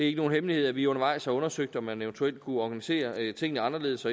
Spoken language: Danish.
ikke nogen hemmelighed at vi undervejs har undersøgt om man eventuelt kunne organisere tingene anderledes